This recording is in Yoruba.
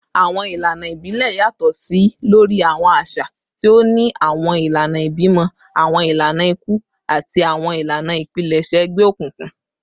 Awọn ilana ibilẹ yatọ si lori awọn aṣa, ti o ni awọn ilana ibimọ, awọn ilana iku, ati awọn ilana ipilẹṣẹ egbeokunkun